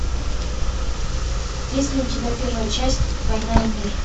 есть ли у тебя первая часть война и мир